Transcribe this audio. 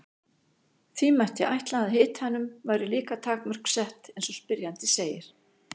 því mætti ætla að hitanum væri líka takmörk sett eins og spyrjandi segir